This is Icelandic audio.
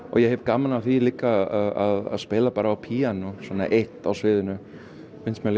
ég hef gaman af því að spila á píanó einn á sviðinu